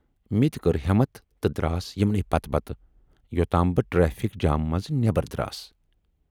مےٚ تہِ کٔر ہٮ۪متھ تہٕ دراس یِمنٕے پتہٕ پتہٕ یوتام بہٕ ٹریفِک جامہٕ منز نٮ۪بر دراس۔